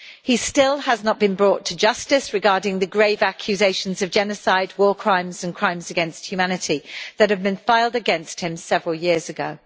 He still has not been brought to justice regarding the grave accusations of genocide, war crimes and crimes against humanity that were filed against him several years ago.